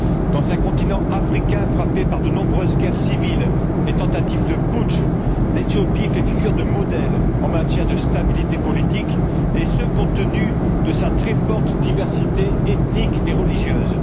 Dans un continent africain frappé par de nombreuses guerres civiles et tentatives de putsch, l'Éthiopie fait figure de modèle en matière de stabilité politique, et ce compte tenu de sa très forte diversité ethnique et religieuse.